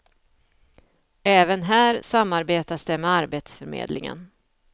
Även här samarbetas det med arbetsförmedlingen.